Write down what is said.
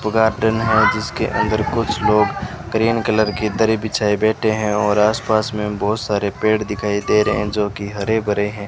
वो गार्डन है जिसके अंदर कुछ लोग ग्रीन कलर की दरी बिछाए बैठे हैं और आसपास में बहुत सारे पेड़ पौधे हैं जो की हरे भरे हैं।